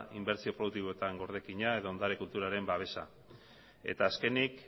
inbertsio produktiboetan gordekina eta ondare kulturalaren babesa eta azkenik